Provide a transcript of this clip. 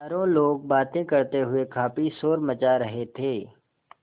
चारों लोग बातें करते हुए काफ़ी शोर मचा रहे थे